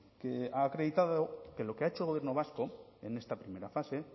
que ha acreditado que lo que ha hecho el gobierno vasco en esta primera fase